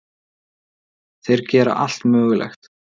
Þeir gera allt mögulegt.